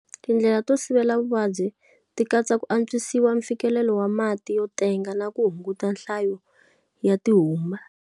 Tindlela to sivela vuvabyi ti katsa ku antshwisa mfikelelo wa mati yo tenga na ku hunguta nhlayo ya ti humba.